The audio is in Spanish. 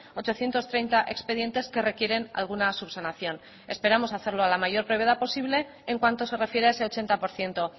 ochocientos treinta expedientes que requieren alguna subsanación esperamos hacerlo a la mayor brevedad posible en cuanto se refiere a ese ochenta por ciento